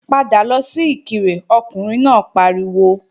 Padà lọ sí Ìkirè Ọkùnrin náà pariwo!